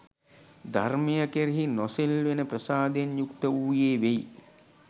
ධර්මය කෙරෙහි නොසෙල්වෙන ප්‍රසාදයෙන් යුක්ත වූයේ වෙයි.